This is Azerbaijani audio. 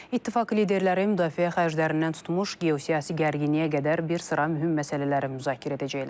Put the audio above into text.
İttifaq liderləri müdafiə xərclərindən tutmuş geosiyasi gərginliyə qədər bir sıra mühüm məsələləri müzakirə edəcəklər.